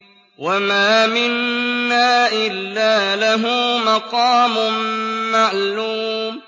وَمَا مِنَّا إِلَّا لَهُ مَقَامٌ مَّعْلُومٌ